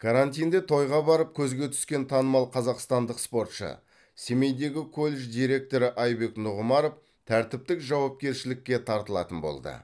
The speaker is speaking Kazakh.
карантинде тойға барып көзге түскен танымал қазақстандық спортшы семейдегі колледж директоры айбек нұғымаров тәртіптік жауапкершілікке тартылатын болды